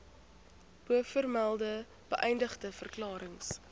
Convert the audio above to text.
bovermelde beëdigde verklarings